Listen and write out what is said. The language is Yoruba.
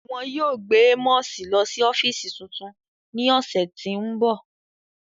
Wọn yóò gbe Amosi lọ si ọfiisi tuntun ni ọsẹ ti n bọ.